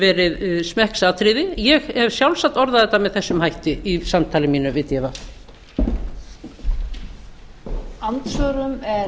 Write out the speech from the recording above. verið smekksatriði ég hef sjálfsagt orðað þetta með þessum hætti í samtali mínu við dv